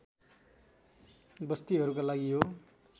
बस्तीहरूका लागि यो